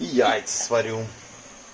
и яйца сварю